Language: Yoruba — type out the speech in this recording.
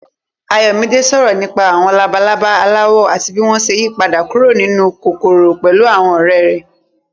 Ayọ̀mídé sọ̀rọ̀ nípa àwọn labalaba aláwọ̀ àti bí wọ́n ṣe ń yípadà kúrò nínú kòkòrò pẹ̀lú àwọn ọ̀rẹ́ rẹ̀.